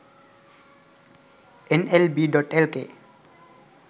nlb.lk